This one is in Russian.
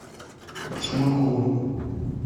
шумакову